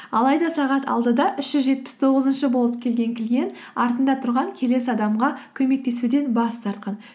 алайда сағат алтыда үш жүз жетпіс тоғызыншы болып келген клиент артында тұрған келесі адамға көмектесуден бас тартқан